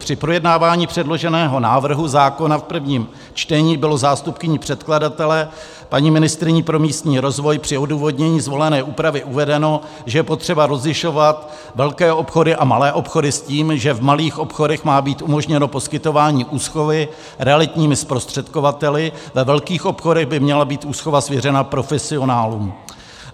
Při projednávání předloženého návrhu zákona v prvním čtení bylo zástupkyní předkladatele, paní ministryní pro místní rozvoj, při odůvodnění zvolené úpravy uvedeno, že je potřeba rozlišovat velké obchody a malé obchody s tím, že v malých obchodech má být umožněno poskytování úschovy realitními zprostředkovateli, ve velkých obchodech by měla být úschova svěřena profesionálům.